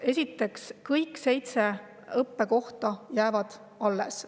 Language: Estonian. Esiteks, kõik seitse õppekohta jäävad alles.